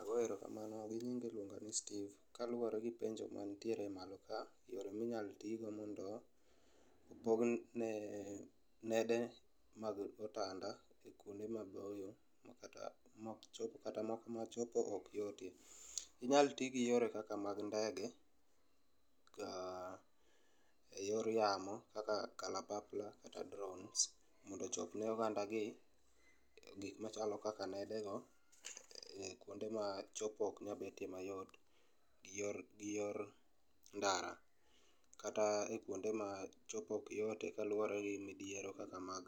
Ago erokamano, gi nyinga iluongani Steve. Kaluore gi penjo mantiere malo ka, yore minyalo tii go mondo opog nede mag otanda e kuonde maboyo makata, maok chop, kata machopo ok yotie. Inyal tii gi yore kaka mag ndege ka, eyor yamo kaka kalapapla kata drones mondo ochopne oganda gi gik machalo kaka nede go e kuonde ma jopok ok nyal bete mayot gi yor ndara. Kata e kuonde ma chopo ok yote kaluore gi midhiero kaka mag